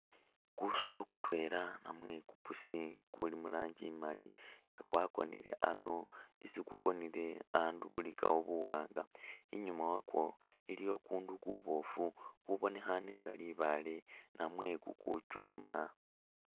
Kusolo kutwela namwe ku pussy kuli mu rangi imali nga kwakonile ano, isi kukonile andu bulikawo buwaanga, inyuuma wakwo iliyo ukundu kuboofu kubonekhaane nga libaale namwe kuchuuma.